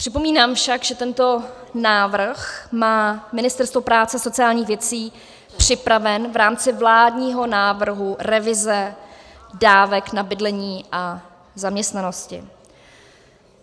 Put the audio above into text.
Připomínám však, že tento návrh má Ministerstvo práce a sociálních věcí připraven v rámci vládního návrhu revize dávek na bydlení a zaměstnanosti.